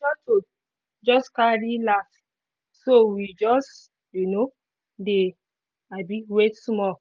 the shuttle just carry last so we just um dey um wait small